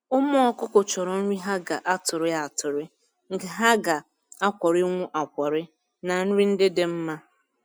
Ụmụ ọkụkọ chọrọ nri ha ga-atụrụ atụrụ, nke ha ga-akwọrịnwu akwọrị na nri ndị dị mma